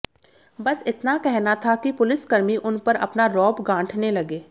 बस इतना कहना था कि पुलिसकर्मी उन पर अपना रौब गांठने लगे